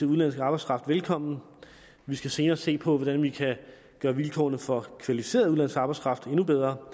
udenlandske arbejdskraft velkommen vi skal senere se på hvordan vi kan gøre vilkårene for kvalificeret udenlandsk arbejdskraft endnu bedre